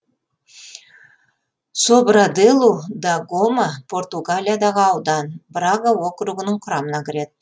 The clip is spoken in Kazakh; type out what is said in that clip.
собраделу да гома португалиядағы аудан брага округінің құрамына кіреді